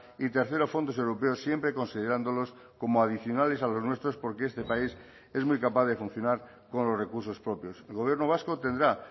y tercero fondos europeos siempre considerándolos como adicionales a los nuestros porque este país es muy capaz de funcionar con los recursos propios el gobierno vasco tendrá